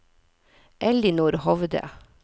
Ellinor Hovde